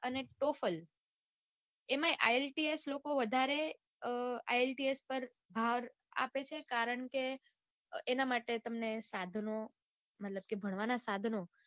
અને ટોફલ એમાંય આઇએલટીસ લોકો વધારે અમ ielts પાર ભાર આપે છે કારણ કે એના માટે તમને સાધનો મતલબ કે ભણવાના સાધનો